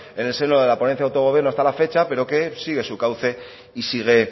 en el seno de la ponencia de autogobierno hasta la fecha pero que sigue su cauce y sigue